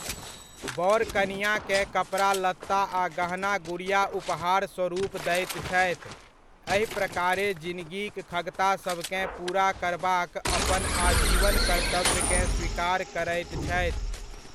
बर कनिआँकेँ कपड़ा लत्ता आ गहना गुड़िया उपहारस्वरूप दैत छथि, एहि प्रकारे जिनगीक खगतासभकेँ पूरा करबाक अपन आजीवन कर्तव्यकेँ स्वीकार करैत छथि।